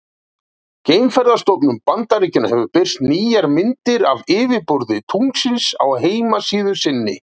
Geimferðastofnun Bandaríkjanna hefur birt nýjar myndir af yfirborði tunglsins á heimasíðu sinni.